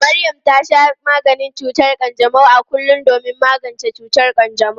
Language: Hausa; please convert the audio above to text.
Maryam ta sha maganin cutar kanjamau a kullum domin magance cutar kanjamau.